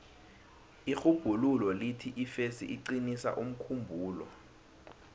irhubhululo lithi ifesi iqinisa umkhumbulo